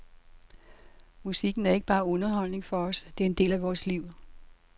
Musikken er ikke bare underholdning for os, det er en del af vores liv.